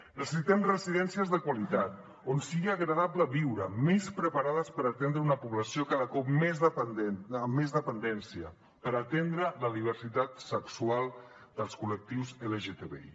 necessitem residències de qualitat on sigui agradable viure més preparades per atendre una població cada cop més dependent amb més dependència per atendre la diversitat sexual dels col·lectius lgtbi